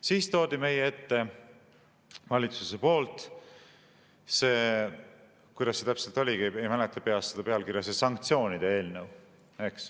Siis toodi meie ette valitsusest see – kuidas see täpselt oligi, ei mäleta peast seda pealkirja – sanktsioonide eelnõu.